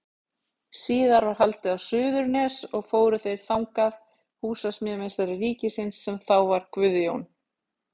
Síðar var haldið á Suðurnes og fóru þeir þangað, húsameistari ríkisins, sem þá var Guðjón